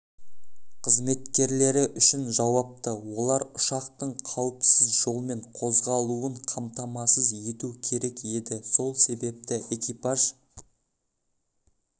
қызметкерлері үшін жауапты олар ұшақтың қауіпсіз жолмен қозғалуын қамтамасыз ету керек еді сол себепті экипаж